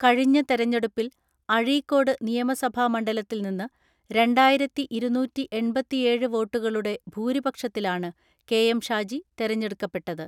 കഴിഞ്ഞ തെരഞ്ഞെടുപ്പിൽ അഴീക്കോട് നിയമസഭാ മണ്ഡല ത്തിൽ നിന്ന് രണ്ടായിരത്തിഇരുന്നൂറ്റിഎൺപത്തിഏഴ് വോട്ടുകളുടെ ഭൂരിപക്ഷത്തിലാണ് കെ.എം ഷാജി തെരഞ്ഞെടുക്കപ്പെട്ടത്.